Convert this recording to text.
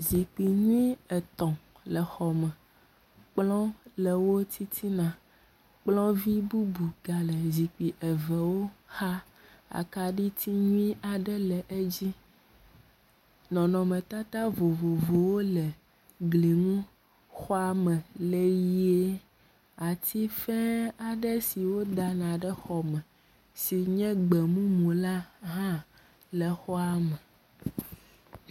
Zikpui nyui etɔ̃ le xɔ me. Kplɔ le wo titina. Kplɔvi bubu ga le zikpui evewo xa. Akaɖiti nyui aɖe le edzi. Nɔnɔmetata vovovowo le gli nu. xɔa me le ʋie. Atife aɖe si wodana ɖe xɔme si nye gbɔmumu la hã le xɔa me.